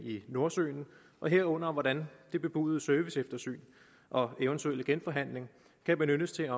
i nordsøen og herunder hvordan det bebudede serviceeftersyn og eventuelle genforhandling kan benyttes til